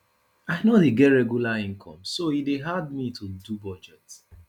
i no dey get regular income so e dey hard me to do budget